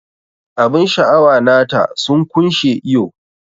Abun sha'awa nata sun kunshe iyo.